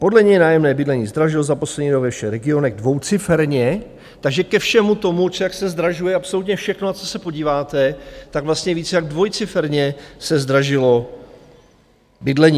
Podle něj nájemní bydlení zdražil za poslední rok ve všech regionech dvouciferně, takže ke všemu tomu, jak se zdražuje absolutně všechno, na co se podíváte, tak vlastně víc jak dvojciferně se zdražilo bydlení.